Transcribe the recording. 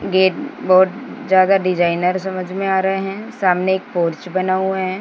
Gate बहोत ज्यादा designer समझ में आ रहे हैं सामने एक पोर्च बना हुए है।